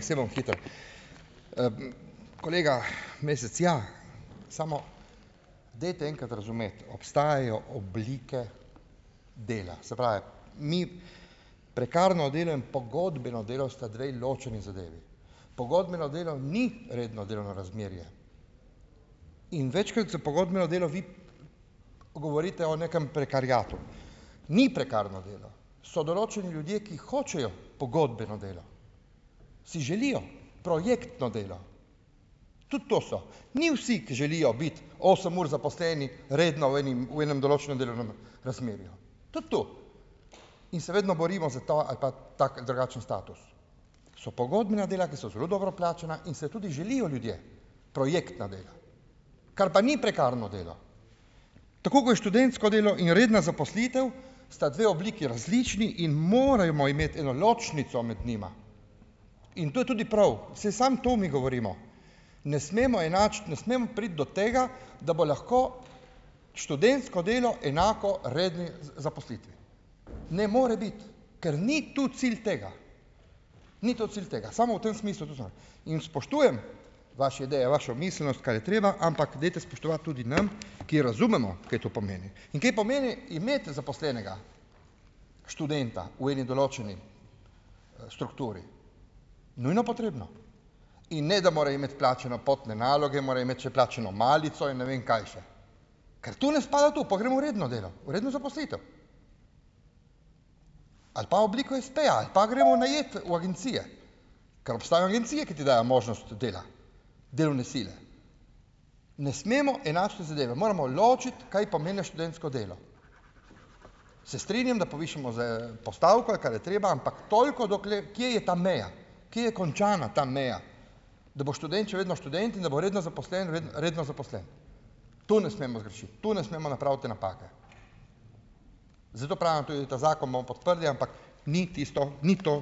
saj bom hitro . kolega Mesec, ja, samo dajte enkrat razumeti. Obstajajo oblike dela. Saj pravim, mi prekarno , pogodbeno delo sta dve ločeni zadevi. Pogodbeno delo ni redno delovno razmerje. In večkrat za pogodbeno delo vi govorite o nekem prekariatu. Ni prekarno delo. So določeni ljudje, ki hočejo pogodbeno delo. Si želijo projektno delo. Tudi to so. Ni vsi, ki želijo biti osem ur zaposleni redni v enim, v enem določenem delovnem razmerju. Tudi tu. In se vedno borimo za ta ali pa tak ali drugačen status. So pogodbena dela, ki so zelo dobro plačana in se tudi želijo ljudje projektna dela. Kar pa ni prekarno delo. Tako kot je študentsko delo in redna zaposlitev, sta dve obliki različni in moramo imeti eno ločnico med njima. In to je tudi prav. Saj samo to mi govorimo. Ne smemo enačiti, ne smemo priti do tega, da bo lahko študentsko delo enako redni zaposlitvi. Ne more biti. Ker ni tu cilj tega. Ni to cilj tega. Samo v tem smislu . In spoštujem vaše ideje, vašo miselnost, kar je treba, ampak dajte spoštovati tudi nam , ki razumemo, kaj to pomeni. In kaj pomeni imeti zaposlenega študenta v eni določeni, strukturi. Nujno potrebno. In ne, da mora imeti plačane potne naloge, mora imeti še plačano malico in ne vem kaj še. Ker tu ne spada to, pa gremo v redno delo, v redno zaposlitev. Ali pa obliko espeja ali pa gremo najet v agencije. Ker obstajajo agencije, ki ti dajo možnost dela. Delovne sile. Ne smemo enačiti zadeve. Moramo ločiti, kaj pomeni študentsko delo. Se strinjam, da povišamo z, postavko, kar je treba, ampak toliko, dokler, kje je ta meja. Kje je končana ta meja? Da bo študent še vedno študent in da bo redno zaposlen redno zaposlen. To ne smemo zgrešiti. Tu ne smemo napraviti te napake. Zato pravim tudi, ta zakon bomo podprli, ampak ni tisto, ni to,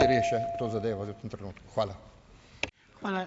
ker je še to zadevo v tem trenutku. Hvala.